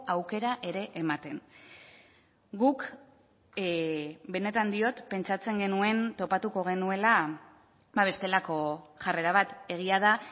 aukera ere ematen guk benetan diot pentsatzen genuen topatuko genuela bestelako jarrera bat egia da